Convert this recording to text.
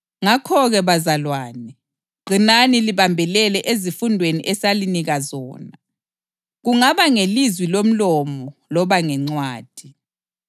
Ngakho-ke bazalwane, qinani libambelele ezifundweni esalinika zona, kungaba ngelizwi lomlomo loba ngencwadi.